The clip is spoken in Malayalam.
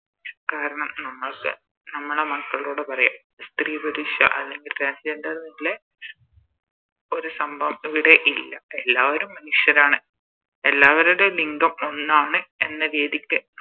കാരണം നമ്മക്ക് നമ്മളെ മക്കളോട് പറയാ സ്ത്രീ പുരുഷ അല്ലെങ്കിൽ Transgender ന്നുള്ളേ ഒരു സംഭവം ഇവിടെ ഇല്ല എല്ലാവരും മനുഷ്യരാണ് എല്ലാവരുടെയും ലിംഗം ഒന്നാണ് എന്ന രീതിക്ക്